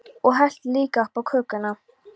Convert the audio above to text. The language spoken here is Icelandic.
Og helltu líka upp á könnuna.